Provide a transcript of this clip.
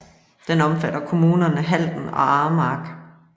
Den omfatter kommunerne Halden og Aremark